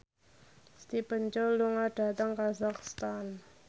Stephen Chow lunga dhateng kazakhstan